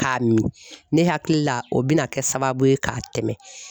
K'a min ne hakili la o bɛna kɛ sababu ye k'a tɛmɛ